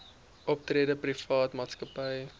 optrede private maatskappye